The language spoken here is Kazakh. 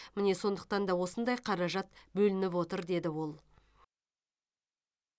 міне сондықтан да осындай қаражат бөлініп отыр деді ол